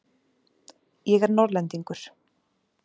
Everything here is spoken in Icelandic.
Ég er Norðlendingur.